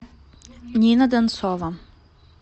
нина донцова